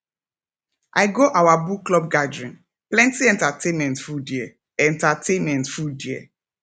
i go our book club gathering plenty entertainment full there entertainment full there